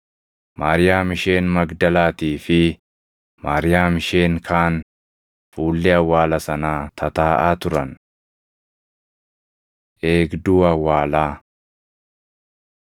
Maariyaam isheen Magdalaatii fi Maariyaam isheen kaan fuullee awwaala sanaa tataaʼaa turan. Eegduu Awwaalaa